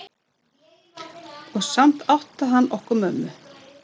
Og samt átti hann okkur mömmu.